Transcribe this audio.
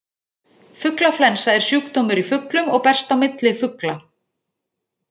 Fuglaflensa er sjúkdómur í fuglum og berst á milli fugla.